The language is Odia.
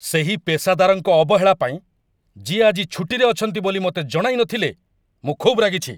ସେହି ପେଷାଦାରଙ୍କ ଅବହେଳା ପାଇଁ, ଯିଏ ଆଜି ଛୁଟିରେ ଅଛନ୍ତି ବୋଲି ମୋତେ ଜଣାଇନଥିଲେ, ମୁଁ ଖୁବ୍ ରାଗିଛି।